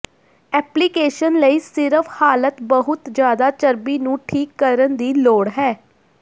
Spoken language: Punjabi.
ਐਪਲੀਕੇਸ਼ਨ ਲਈ ਸਿਰਫ ਹਾਲਤ ਬਹੁਤ ਜ਼ਿਆਦਾ ਚਰਬੀ ਨੂੰ ਠੀਕ ਕਰਨ ਦੀ ਲੋੜ ਹੈ